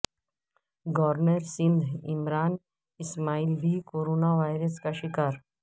governor Sindh Imran Ismail بھی corona virus کا شکار